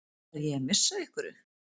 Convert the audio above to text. Er ég að missa af einhverju?